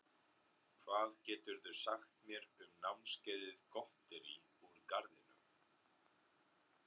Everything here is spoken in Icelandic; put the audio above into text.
Hvað geturðu sagt mér um námskeiðið Gotterí úr garðinum?